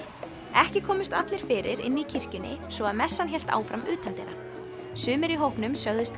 ekki komust allir fyrir inni í kirkjunni svo að messan hélt áfram utandyra sumir í hópnum sögðust